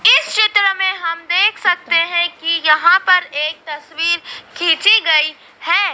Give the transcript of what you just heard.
इस चित्र में हम देख सकते हैं कि यहां पर एक तस्वीर खींची गई है।